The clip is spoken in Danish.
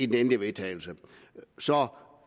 den endelige vedtagelse så